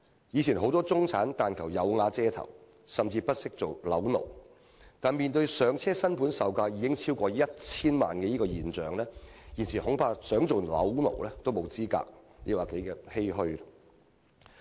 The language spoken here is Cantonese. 以前很多中產人士但求"有瓦遮頭"，甚至不惜做"樓奴"，但在"上車"新盤售價已經超過 1,000 萬元的情況下，現時他們即使想做"樓奴"，恐怕亦沒有資格，實在令人十分欷歔。